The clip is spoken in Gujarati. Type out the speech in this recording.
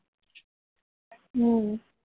હમ